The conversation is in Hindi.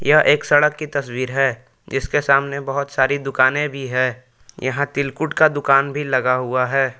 यह एक सड़क की तस्वीर है इसके सामने बहुत सारी दुकानें भी है यहां तिलकुट का दुकान भी लगा हुआ है।